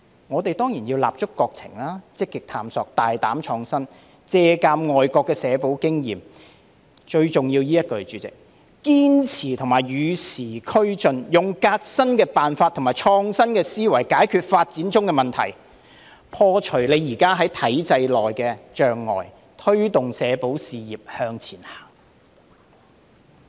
我們當然要立足國情、積極探索、大膽創新、借鑒國外社保經驗——代理主席，最重要是以下這一句——堅持與時俱進，用革新的辦法和創新的思維解決發展中的問題，破除現時在體制內的障礙，推動社保事業向前行。